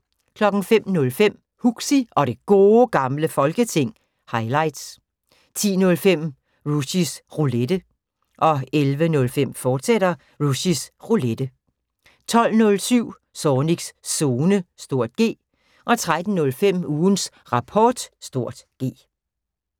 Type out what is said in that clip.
05:05: Huxi og Det Gode Gamle Folketing – highlights 10:05: Rushys Roulette 11:05: Rushys Roulette, fortsat 12:07: Zornigs Zone (G) 13:05: Ugens Rapport (G)